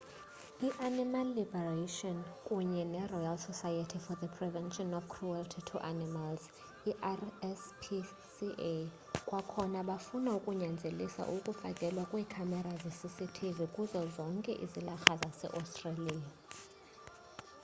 i-animal liberation kunye neroyal society for the prevention of cruelty to animals i-rspca kwakhona bafuna ukunyanzelisa ukufakelwa kweekhamera zecctv kuzo zonke izilarha zaseaustralia